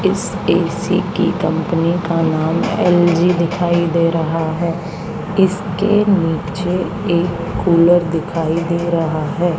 इस ए_सी की कंपनी का नाम एल_जी दिखाई दे रहा हैं इसके नीचे एक कूलर दिखाई दे रहा हैं।